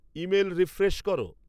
email refresh করো